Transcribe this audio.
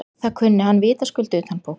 Það kunni hann vitaskuld utanbókar.